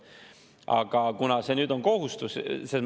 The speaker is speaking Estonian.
Aga kuna see nüüd on kohustus …